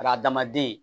Adamaden